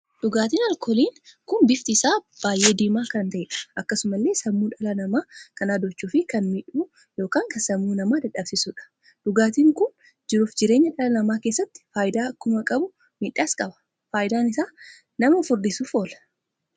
Dhugaatiin alkooliin kun bifti isaa baay'ee diimaa kan taheedha. akkasumallee sammuu dhala namaa kan adoochu fi kan miidhu ykn kan sammuu namaa dadhabsiisuudha. Dhugaatiin kun jiruuf jireenya dhala namaa keessatti faayidaa akkuma qabu miidhaas qaba. Faayidaan isaa nama furdisuuf oola.